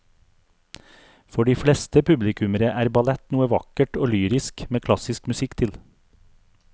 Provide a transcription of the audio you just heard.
For de fleste publikummere er ballett noe vakkert og lyrisk med klassisk musikk til.